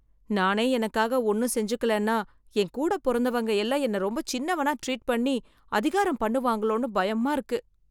நானே எனக்காக ஒண்ணும் செஞ்சுக்கலனா என் கூடப் பொறந்தவங்க எல்லாம் என்னை ரொம்ப சின்னவனா ட்ரீட் பண்ணி, அதிகாரம் பண்ணுவாங்களோன்னு பயமா இருக்கு.